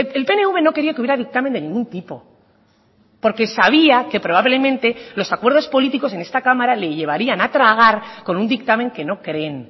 el pnv no quería que hubiera dictamen de ningún tipo porque sabía que probablemente los acuerdos políticos en esta cámara le llevarían a tragar con un dictamen que no creen